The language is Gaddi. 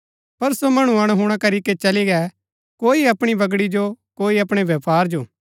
पर सो मणु अणहुणा करीके चली गै कोई अपणी बगड़ी जो कोई अपणै व्यपार जो